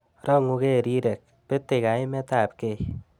Rongukei rirek, betei kaimetabkei